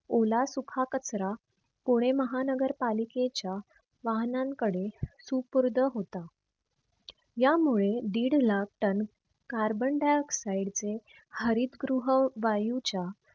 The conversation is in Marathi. ओला सुख कचरा पुणे महानगर पालिकेच्या वाहनांकडे सुपूर्द होता. यामुळे डिड लाख ton carbon dioxide चे हरितगृह वायूच्या